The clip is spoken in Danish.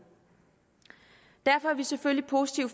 derfor er vi selvfølgelig positive